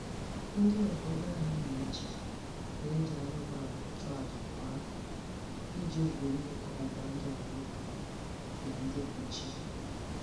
Ndị obodo anyị na-eji na-eji anụmanụ achụ aja kwa afọ iji wulie ọgbụgbandụ anyị na ndị bụ chi